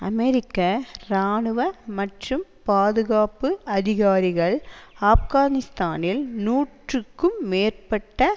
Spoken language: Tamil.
அமெரிக்க இராணுவ மற்றும் பாதுகாப்பு அதிகாரிகள் ஆப்கானிஸ்தானில் நூறுக்கும் மேற்பட்ட